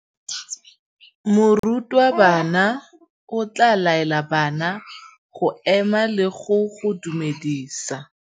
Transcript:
Morutabana o tla laela bana go ema le go go dumedisa.